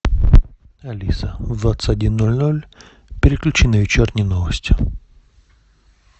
алиса в двадцать один ноль ноль переключи на вечерние новости